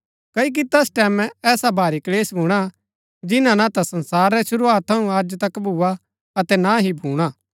क्ओकि तैस टैमैं ऐसा भारी क्‍लेश भूणा जिन्‍ना ना ता संसार रै शुरूआत थऊँ अज तक भुआ अतै ना ही भूणा